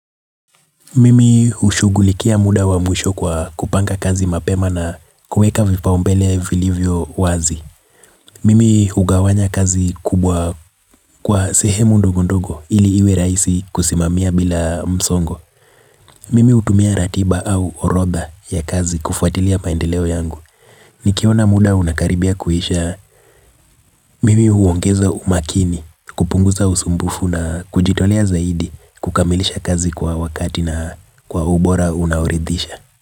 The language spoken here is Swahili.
Mimi hushugulikia muda wa mwisho kwa kupanga kazi mapema na kuweka vipaumbele vilivyo wazi. Mimi hugawanya kazi kubwa kwa sehemu ndogondogo ili iwe rahisi kusimamia bila msongo. Mimi hutumia ratiba au orodha ya kazi kufuatilia maendeleo yangu. Nikiona muda unakaribia kuisha, mimi huongeza umakini kupunguza usumbufu na kujitolea zaidi kukamilisha kazi kwa wakati na kwa ubora unaoridisha.